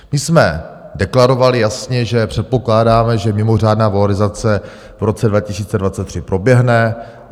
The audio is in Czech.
My jsme deklarovali jasně, že předpokládáme, že mimořádná valorizace v roce 2023 proběhne.